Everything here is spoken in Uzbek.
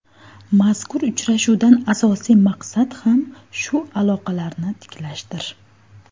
Mazkur uchrashuvdan asosiy maqsad ham shu aloqalarni tiklashdir.